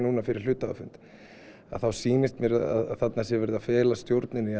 fyrir hluthafafund þá sýnist mér að þarna sé verið að fela stjórninni